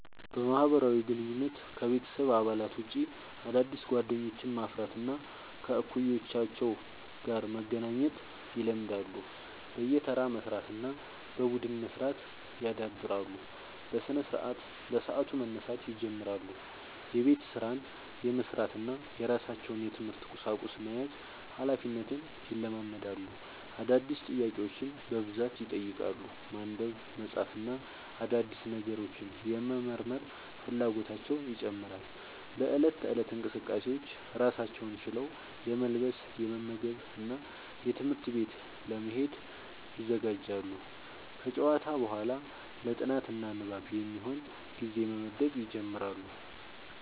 በማህበራዊ ግንኙነት: ከቤተሰብ አባላት ውጭ አዳዲስ ጓደኞችን ማፍራት እና ከእኩዮቻቸው ጋር መገናኘት ይለምዳሉ። በየተራ መስራት እና በቡድን መስራት ያዳብራሉ። በስነስርዓት : በሰዓቱ መነሳት ይጀምራሉ። የቤት ስራን የመስራት እና የራሳቸውን የትምህርት ቁሳቁስ መያዝ ሀላፊነትን ይለማመዳሉ። አዳዲስ ጥያቄዎችን በብዛት ይጠይቃሉ። ማንበብ፣ መጻፍ እና አዳዲስ ነገሮችን የመመርመር ፍላጎታቸው ይጨምራል።. በእለት ተእለት እንቅስቃሴዎች: ራሳቸውን ችለው የመልበስ፣ የመመገብ እና ትምህርት ቤት ለመሄድ ይዘጋጃሉ። ከጨዋታ በኋላ ለ ጥናት እና ንባብ የሚሆን ጊዜ መመደብ ይጀምራሉ።